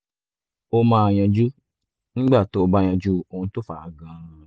ó máa yanjú nígbà tó o bá yanjú ohun tó fà á gan-an